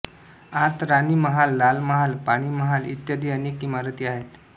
आत राणीमहाल लालमहाल पाणीमहाल इत्यादी अनेक इमारती आहेत